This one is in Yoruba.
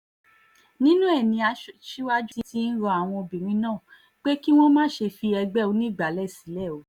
nínú ẹ̀ ni aṣíwájú ti ń rọ àwọn obìnrin náà pé kí wọ́n má ṣe fi ẹgbẹ́ onígbàálẹ̀ sílẹ̀ o